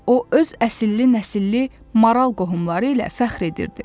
O öz əsilli-nəsilli maral qohumları ilə fəxr edirdi.